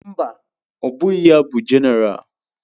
Mba, ọ bụghị ya bụ Jenéral.